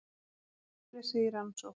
Bílslysið í rannsókn